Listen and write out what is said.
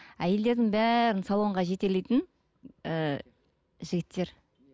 әйелдердің бәрін салонға жетелейтін і жігіттер